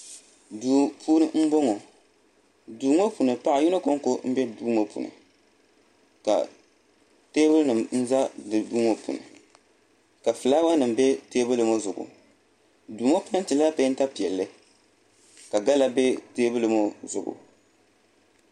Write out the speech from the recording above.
Duu puuni n boŋo duu ŋo puuni paɣa yino konko n bɛ duu ŋo puuni ka teebuli nim ʒɛ duu ŋo puuni ka fulaawa nim ʒɛ teebuli ŋo zuɣu duu ŋo peentila peenta piɛlli ka gala bɛ teebuli ŋo zuɣu